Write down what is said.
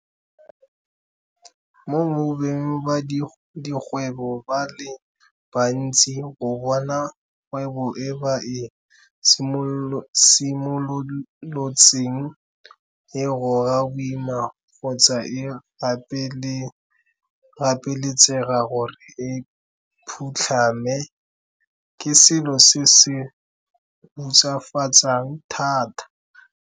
Mo go beng ba dikgwebo ba le bantsi go bona kgwebo e ba e simolotseng e goga boima kgotsa e gapeletsega gore e phutlhame, ke selo se se hutsafatsang thata.